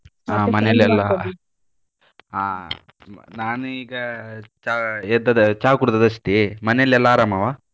ಆ ಮನೇಲೆಲ್ಲ ಆ ನಾನು ಈಗ ಚಾ ಎದ್ದದ್ದು ಚಾ ಕುಡ್ದದ್ದು ಅಷ್ಟೇ, ಮನೆಯಲೆಲ್ಲಾ ಆರಾಮವ?